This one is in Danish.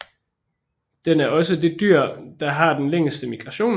Den er også det dyr der har den længste migration